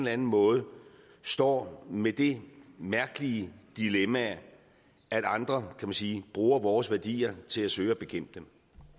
anden måde står med det mærkelige dilemma at andre kan man sige bruger vores værdier til at søge at bekæmpe dem